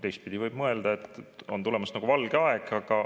Teistpidi võib ju muidugi mõelda, et tulemas on valge aeg.